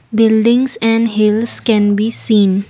buildings and hills can be seen.